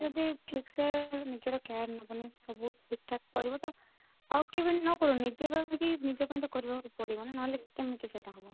ଯଦି ଠିକ ସେ ନିଜର care ନବନି ସବୁ ଠିକ ଠାକ କରିବ ତ ଆଉ କେବେ ନ କରନି ପାଇଁ ନିଜ ପାଇଁ ତ କରିବାକୁ ପଡିବ ନହେଲେ କେମିତି ସେଇଟା ହବ